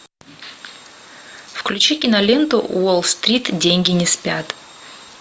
включи киноленту уолл стрит деньги не спят